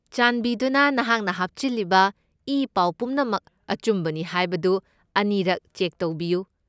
ꯆꯥꯟꯕꯤꯗꯨꯅ ꯅꯍꯥꯛꯅ ꯍꯥꯞꯆꯤꯜꯂꯤꯕ ꯏꯄꯥꯎ ꯄꯨꯝꯅꯃꯛ ꯑꯆꯨꯝꯕꯅꯤ ꯍꯥꯏꯕꯗꯨ ꯑꯅꯤꯔꯛ ꯆꯦꯛ ꯇꯧꯕꯤꯌꯨ꯫